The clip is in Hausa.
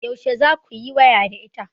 Yaushe za ku yi waya da ita?